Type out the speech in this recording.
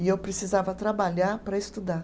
E eu precisava trabalhar para estudar.